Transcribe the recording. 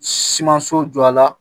Simanso jɔ la